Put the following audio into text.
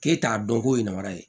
K'e t'a dɔn ko yemara ye